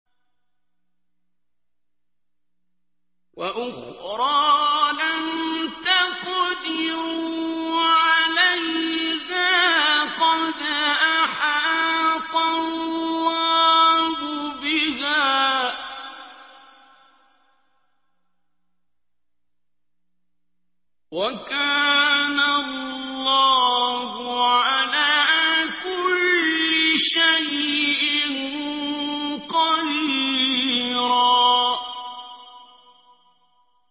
وَأُخْرَىٰ لَمْ تَقْدِرُوا عَلَيْهَا قَدْ أَحَاطَ اللَّهُ بِهَا ۚ وَكَانَ اللَّهُ عَلَىٰ كُلِّ شَيْءٍ قَدِيرًا